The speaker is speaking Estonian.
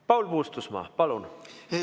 Paul Puustusmaa, palun!